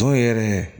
Don yɛrɛ